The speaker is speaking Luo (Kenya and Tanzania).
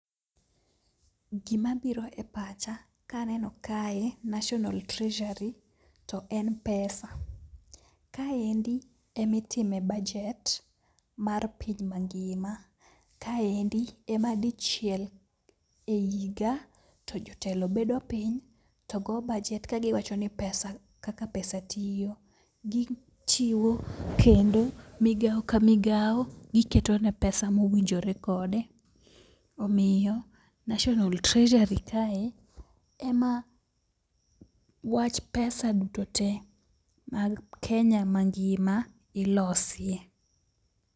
Gima biro e pacha kaneno kae National Treasury to en pesa. Kaendi emitime bajet mar piny mangima. Kaendi ema dichiel e higa to jotelo bedo piny to go bajet ka giwacho ni pesa kaka pesa tiyo. Gi chiwo kendo migao ka migawo giketone pesa mowinjore kode. Omiyo National Treasury kae ema wach pesa duto te mag Kenya mangima ilosie.